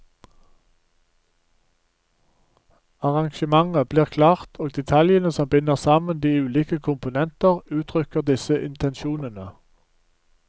Arrangementet blir klart, og detaljene som binder sammen de ulike komponenter uttrykker disse intensjonene.